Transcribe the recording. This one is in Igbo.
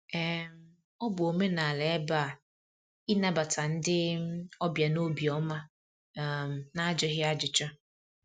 um Ọ bụ omenala ebe a ịnabata ndị um ọbịa n'obi ọma um n'ajụghị ajụjụ.